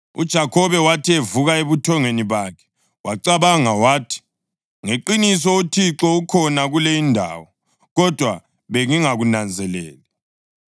UJakhobe wathi evuka ebuthongweni bakhe wacabanga wathi, “Ngeqiniso uThixo ukhona kule indawo, kodwa bengingakunanzeleli.”